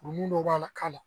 Kurukun dɔ b'a la k'a la